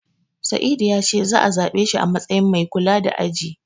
Sa'idu ya ce za'a zabe shi a matsayin mai kula da aji.